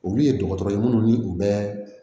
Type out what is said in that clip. Olu ye dɔgɔtɔrɔ ye minnu ni u bɛ